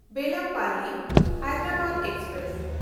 ᱵᱮᱞᱟᱢᱯᱟᱞᱞᱤ–ᱦᱟᱭᱫᱨᱟᱵᱟᱫ express